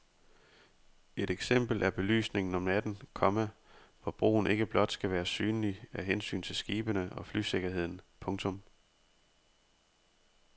Et eksempel er belysningen om natten, komma hvor broen ikke blot skal være synlig af hensyn til skibene og flysikkerheden. punktum